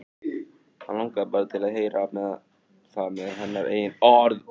Hann langaði bara til að heyra það með hennar eigin orðum.